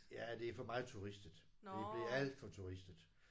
Ja det er for meget turistet. Det blev alt for turistet